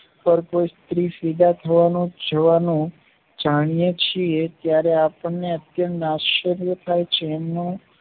પર કોઈ સ્ત્રી સુદ થવાનો જવાનો જાણ્યો છીએ ત્યારે આપણને અત્યંત આશ્ચર્ય થાય છે અને